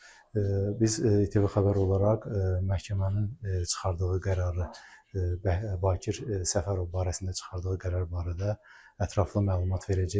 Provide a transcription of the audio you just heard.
Biz İTV Xəbər olaraq məhkəmənin çıxardığı qərarı, Bakir Səfərov barəsində çıxardığı qərar barədə ətraflı məlumat verəcəyik.